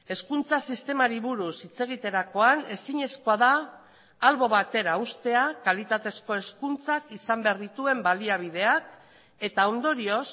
hezkuntza sistemari buruz hitz egiterakoan ezinezkoa da albo batera uztea kalitatezko hezkuntzak izan behar dituen baliabideak eta ondorioz